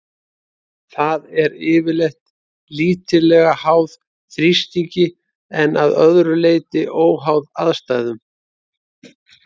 Það er yfirleitt lítillega háð þrýstingi en að öðru leyti óháð aðstæðum.